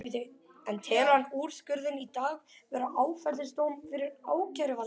En telur hann úrskurðinn í dag vera áfellisdóm fyrir ákæruvaldið?